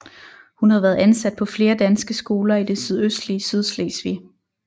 Hun har været ansat på flere danske skoler i det sydøstlige Sydslesvig